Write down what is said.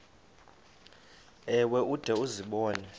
ewe ude uzibone